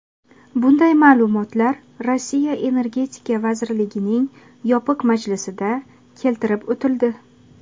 Bunday ma’lumotlar Rossiya energetika vazirligining yopiq majlisida keltirib o‘tildi.